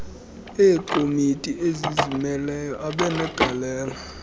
eekomiti ezizimeleyo abenegalelo